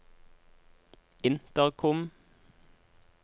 intercom